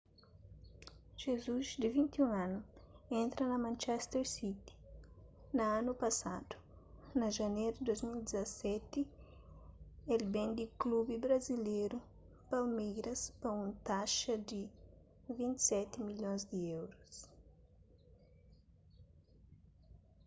jesus di 21 anu entra na manchester city na anu pasadu na janeru di 2017 el ben di klubi brazileru palmeiras pa un taxa di £27 milhon